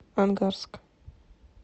ангарск